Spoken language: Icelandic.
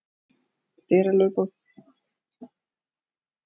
Það þótti mér ótrúlega spennandi.